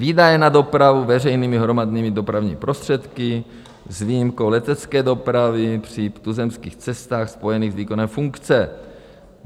Výdaje na dopravu veřejnými hromadnými dopravními prostředky s výjimkou letecké dopravy při tuzemských cestách spojených s výkonem funkce.